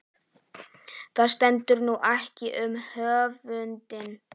Það stendur nú ekkert um höfundinn.